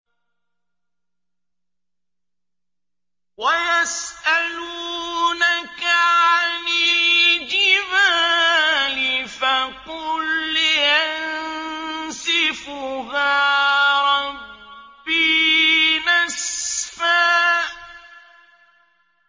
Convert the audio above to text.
وَيَسْأَلُونَكَ عَنِ الْجِبَالِ فَقُلْ يَنسِفُهَا رَبِّي نَسْفًا